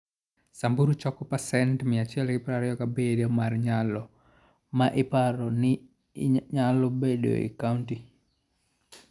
Samburu choko pasent 127 mar nyalo ma iparo ni nyalo bedoe e kaunti.